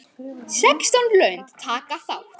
Sextán lönd taka þátt.